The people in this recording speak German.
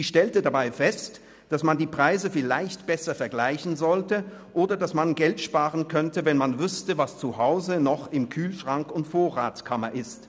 Sie stellte dabei fest, dass man die Preise vielleicht besser vergleichen sollte, oder dass man Geld sparen könnte, wenn man wüsste, was zu Hause noch in Kühlschrank und in der Vorratskammer vorhanden ist.